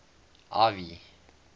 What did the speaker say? ivy